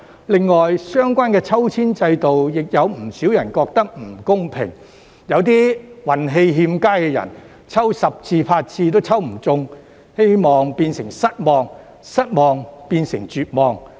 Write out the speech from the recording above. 另外，相關抽籤制度，有不少人覺得不公平，有些運氣欠佳的人，抽十次八次也抽不中，希望變成失望，失望變成絕望。